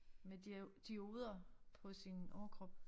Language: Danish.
Med dioder på sin overkrop